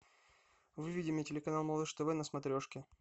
выведи мне телеканал малыш тв на смотрешке